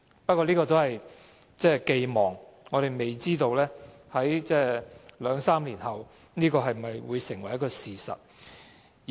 不過，這只是寄望，我們未知道在兩三年後，這會否成為事實。